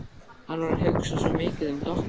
Hann var að hugsa svo mikið um Doppu.